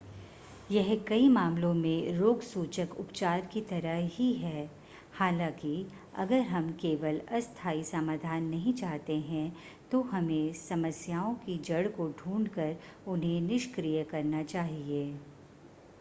यह कई मामलों में रोगसूचक उपचार की तरह ही है हालांकि अगर हम केवल अस्थाई समाधान नहीं चाहते हैं तो हमें समस्याओं की जड़ को ढूंढ कर उन्हें निष्क्रिय करना चाहिए